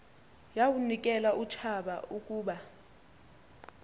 yawunikel utshaba ukuba